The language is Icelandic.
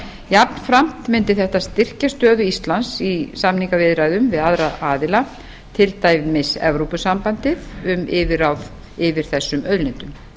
jafnframt mundi þetta styrkja stöðu íslands í samningaviðræðum við aðra aðila til dæmis evrópusambandið um yfirráð yfir þessum auðlindum